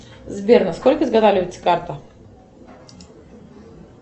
сбер а сколько изготавливается карта